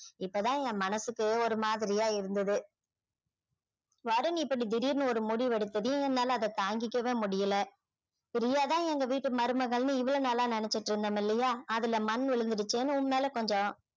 இப்பதான் என் மனசுக்கு ஒரு மாதிரியா இருந்தது வருண் இப்படி திடிர்னு ஒரு முடிவெடுத்ததும் என்னால அதை தாங்கவே முடியலை பிரியா தான் எங்க வீட்டு மருமகள்னு இவ்வளவு நாளா நினைச்சிட்டிருந்தோம் இல்லையா அதுல மண் விழுந்திடுச்சேன்னு உன் மேல கொஞ்சம்